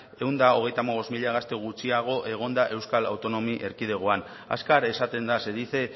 ehun eta hogeita hamabost mila gazte gutxiago egon da euskal autonomia erkidegoan azkar esaten da se dice